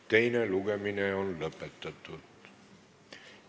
Teine lugemine on lõpetatud.